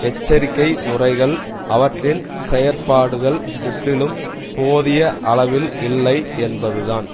எச்சரிக்கை முறைகள் அவற்றின் செயற்பாடுகள் முற்றிலும் போதிய அளவில் இல்லை என்பதுதான்